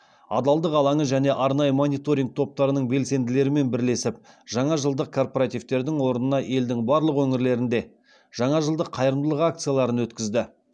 адалдық алаңы және арнайы мониторинг топтарының белсенділерімен бірлесіп жаңа жылдық корпоративтердің орнына елдің барлық өңірлерінде жаңа жылдық қайырымдылық акцияларын өткізді